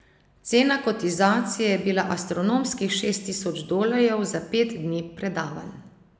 Cena kotizacije je bila astronomskih šest tisoč dolarjev za pet dni predavanj.